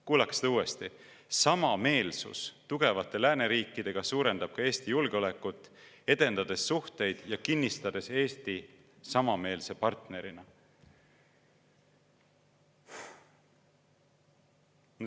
" Kuulake seda uuesti: "Samameelsus tugevate lääneriikidega suurendab ka Eesti julgeolekut, edendades suhteid ja kinnistades Eesti samameelse partnerina.